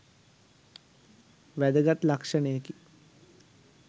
වැදගත් ලක්ෂණයකි